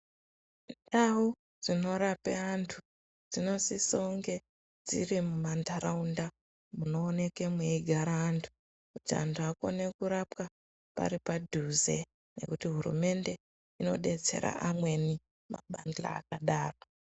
Ndau dzinorape antu, dzinosisounge dziri mumantaraunda munooneke mweigara antu, kuti antu akone kurapwa pari padhuze ngekuti hurumende inodetsera amweni mabandira akadaro.